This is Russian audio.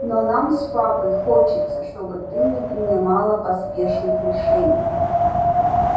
но нам с папой хочется чтобы ты не принимала поспешных решений